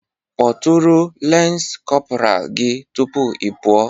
Kpọtụrụ lance corporal gị tupu ị pụọ